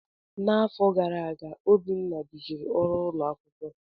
N'afọ gara aga, Obinna duziri ọrụ ụlọ akwụkwọ.